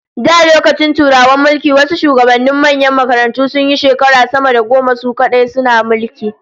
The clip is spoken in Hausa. Da lokacin Turawan mulki, wasu shugabannin manyan makarantun sunyi shekara sama da goma su kadai suna mulki